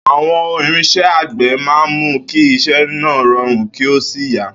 Àwo̩n irins̩é̩ àgbè̩ máa ń mú kí is̩é̩ náà ro̩rùn kí ó sì yá